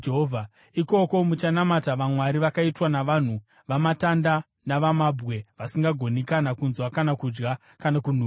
Ikoko muchanamata vamwari vakaitwa navanhu, vamatanda navamabwe, vasingagoni kana kunzwa kana kudya kana kunhuhwidza.